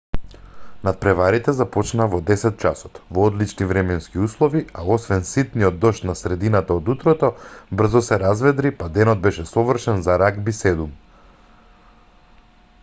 натпреварите започнаа во 10:00 часот во одлични временски услови а освен ситниот дожд на средината од утрото брзо се разведри па денот беше совршен за рагби 7